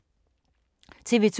TV 2